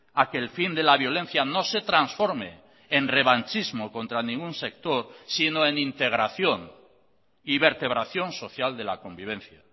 a que el fin de la violencia no se transforme en revanchismo contra ningún sector sino en integración y vertebración social de la convivencia